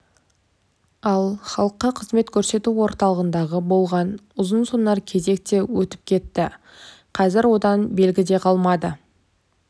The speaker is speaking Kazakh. ал халыққа қызмет көрсету орталығындағы болған ұзынсонар кезек те өтіп кетті қазір одан белгі де қалмады